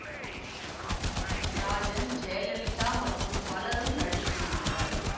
ராஜன் ஜெயலலிதா மற்றும் பலரும் நடித்திருந்தனர்